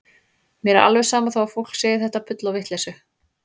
Mér er alveg sama þó að fólk segi þetta bull og vitleysu.